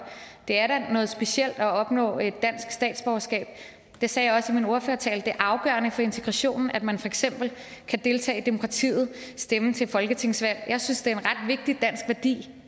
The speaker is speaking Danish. det da er noget specielt at opnå et dansk statsborgerskab det sagde jeg også i min ordførertale det er afgørende for integrationen at man for eksempel kan deltage i demokratiet stemme til folketingsvalg jeg synes er en ret vigtig dansk værdi